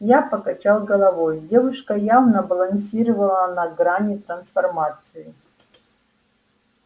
я покачал головой девушка явно балансировала на грани трансформации